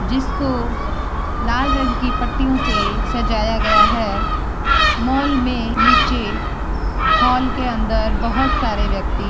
जिस को लाल रंग की पट्टियों से सजाया गया है मॉल में नीचे हॉल के अंदर बहुत सारे व्यक्ति--